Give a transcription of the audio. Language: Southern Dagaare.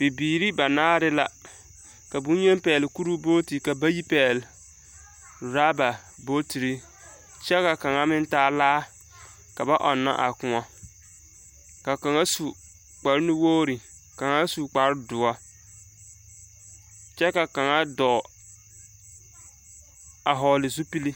Bibiiri banaare la, ka boŋyeni pɛgele kuruu booti ka bayi pɛgele oraba bootiri. kyɛ ka kaŋa meŋ taa laa. Ka baɔnnɔ a kõɔ. Ka kaŋa su kpare nuwogiri, ka kaŋa su kpare doɔ kyɛ ka kaŋa dɔɔ a hɔgele zupili.